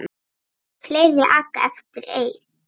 Fleiri aka eftir einn.